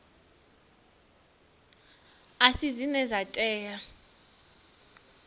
a si dzine dza tea